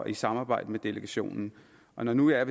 i samarbejde med delegationen og når nu jeg